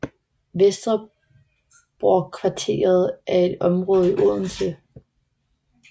Vesterbrokvarteret er et område i Odense